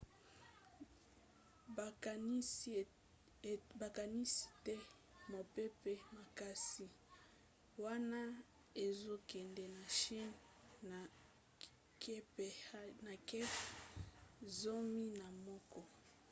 bakanisi ete mopepe makasi wana ezokende na chine na kph zomi na moko